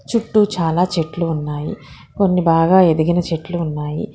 చుట్టూ చాలా చెట్లు ఉన్నాయి కొన్ని బాగా ఎదిగిన చెట్లు ఉన్నాయి